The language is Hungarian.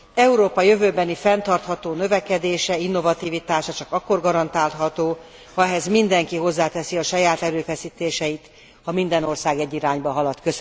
Európa jövőbeni fenntartható növekedése, innovativitása csak akkor garantálható, ha ehhez mindenki hozzáteszi a saját erőfeszítéseit, ha minden ország egy irányba halad.